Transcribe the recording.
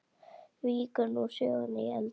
Víkur nú sögunni í eldhús.